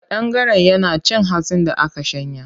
Ƙadangaren yana cin hatsin da aka shanya.